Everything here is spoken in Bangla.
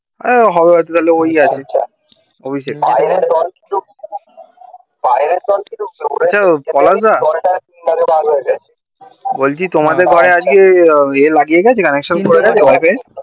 হ্যাঁ হবে হয়তো তাহলে ওই আছে অভিষেক আচ্ছা পলাশ দা বলছি তোমাদের ঘরে আজকে এ লাগিয়ে গেছে connection করে গেছে wi-fi এর